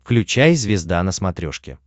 включай звезда на смотрешке